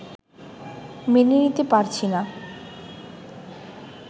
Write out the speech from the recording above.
মেনে নিতে পারছি না